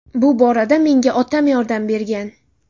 Bu borada menga otam yordam bergan.